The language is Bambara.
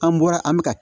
An bɔra an bɛ ka